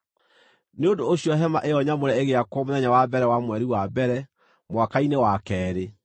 Nĩ ũndũ ũcio hema ĩyo nyamũre ĩgĩakwo mũthenya wa mbere wa mweri wa mbere, mwaka-inĩ wa keerĩ.